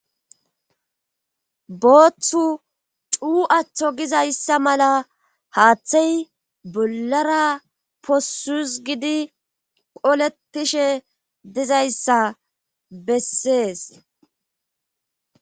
Booththu cuu aththo gizayssa mala haaththey bollara possus gidi qoletishe dizayssa bessees